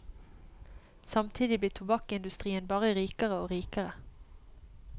Samtidig blir tobakkindustrien bare rikere og rikere.